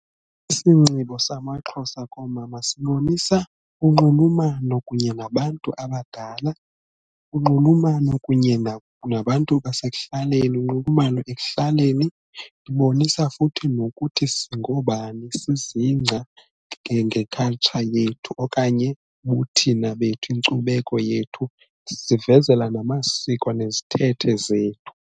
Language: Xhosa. Isinxibo samaXhosa komama sibonisa unxulumano kunye nabantu abadala, unxulumano kunye nabantu basekuhlaleni, unxulumano ekuhlaleni. Ibonisa futhi nokuthi singoobani sizingca nge-culture yethu okanye ubuthina bethu, inkcubeko yethu sivezela namasiko nezithethe zethu.